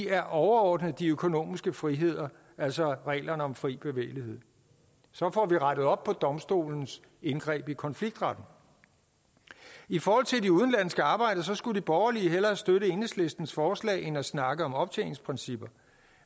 er overordnet de økonomiske friheder altså reglerne om fri bevægelighed så får vi rettet op på domstolens indgreb i konfliktretten i forhold til de udenlandske arbejdere skulle de borgerlige hellere støtte enhedslistens forslag end snakke om optjeningsprincipper